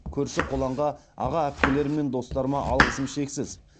көрші қолаңға аға әпкелерім мен достарыма алғысым шексіз